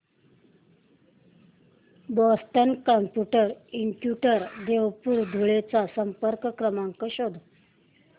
Boston computer institute Deopur Dhule चा संपर्क क्रमांक शोध